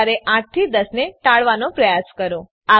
સવાર ૮ થી ૧૦ ને ટાળવાનો પ્રયાસ કરો